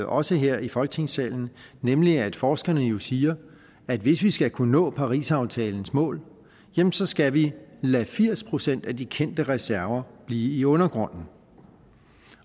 også her i folketingssalen nemlig at forskerne jo siger at hvis vi skal kunne nå parisaftalens mål jamen så skal vi lade firs procent af de kendte reserver blive i undergrunden